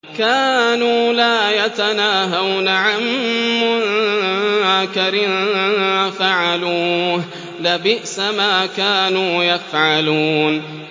كَانُوا لَا يَتَنَاهَوْنَ عَن مُّنكَرٍ فَعَلُوهُ ۚ لَبِئْسَ مَا كَانُوا يَفْعَلُونَ